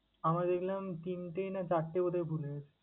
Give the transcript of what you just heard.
আমার দেখলাম তিনটে না চারটে করে ভুল হয়েছে।